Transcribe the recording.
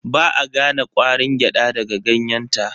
Ba a gane ƙwarin gyada daga ganyenta.